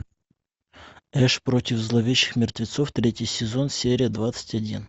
эш против зловещих мертвецов третий сезон серия двадцать один